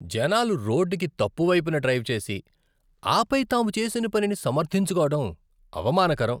జనాలు రోడ్డుకి తప్పు వైపున డ్రైవ్ చేసి, ఆపై తాము చేసిన పనిని సమర్థించుకోవడం అవమానకరం.